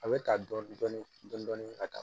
A bɛ ta dɔɔnin dɔɔnin ka taa